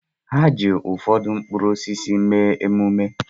Ha ji ụfọdụ mkpụrụ osisi mee emume